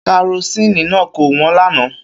Karosini náà kò wọ́n lánàá.